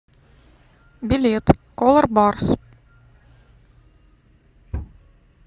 билет колорбарс